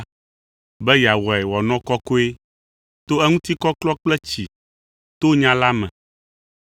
be yeawɔe wòanɔ kɔkɔe to eŋutikɔklɔ kple tsi to nya la me,